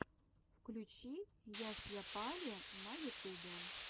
включи ясйапали на ютубе